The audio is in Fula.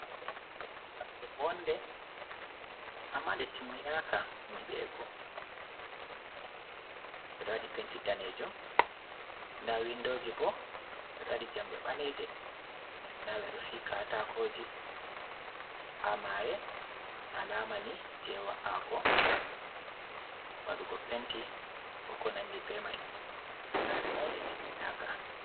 Saare wonde, ama de timinaka nyiɓego, ɓeɗo waɗi penti danejuum, nda windoji bo ɓeɗo waɗi jamde ɓaleje, nda ɓe ɗoo fiyi katakoji ha mare, alamani je wa’ago waɗugo penti, ko konandi be mai, saare maini nde timminaka.